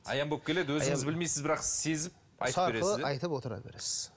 аян болып келеді өзіңіз білмейсіз бірақ сезіп айтып отыра бересіз